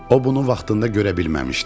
O bunu vaxtında görə bilməmişdi.